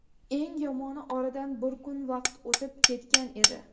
Eng yomoni, oradan bir kun vaqt o‘tib ketgan edi.